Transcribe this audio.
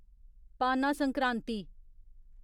पाना संक्रांति